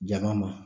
Jaga ma